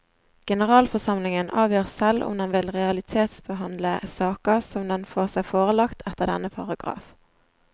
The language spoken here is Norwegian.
Generalforsamlingen avgjør selv om den vil realitetsbehandle saker som den får seg forelagt etter denne paragraf.